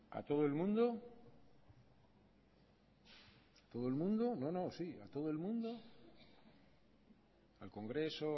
a todo el mundo todo el mundo no no sí a todo el mundo al congreso